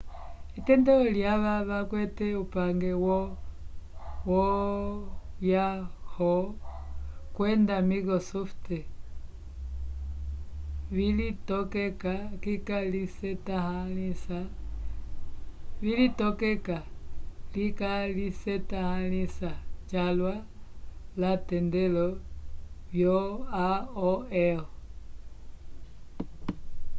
etendelo lyava vakwete upange wo yahoo kwenda microsoft vilitokeka likalisetãhalisa calwa l'atendelo vyo aol